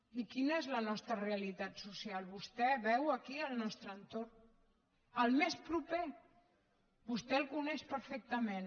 i quina és la nostra realitat social vostè veu aquí el nostre entorn el més proper vostè el coneix perfectament